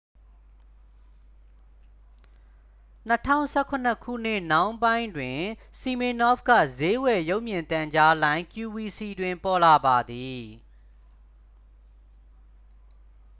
2017 ခုနှစ်နှောင်းပိုင်းတွင် စီမင်နော့ဖ်က စျေးဝယ် ရုပ်မြင်သံကြားလိုင်း qvc တွင် ပေါ်လာပါသည်